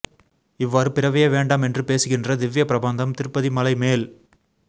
இவ்வாறு பிறவியே வேண்டாம் என்று பேசுகின்ற திவ்ய ப்ரபந்தம் திருப்பதி மலைமேல்